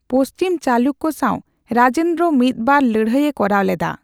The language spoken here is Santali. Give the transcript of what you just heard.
ᱯᱚᱪᱷᱤᱢ ᱪᱟᱞᱩᱠᱠᱚ ᱥᱟᱣ ᱨᱟᱡᱮᱱᱫᱨᱚ ᱢᱤᱫ ᱵᱟᱨ ᱞᱟᱹᱲᱦᱟᱹᱭᱮ ᱠᱚᱨᱟᱣ ᱞᱮᱫᱟ ᱾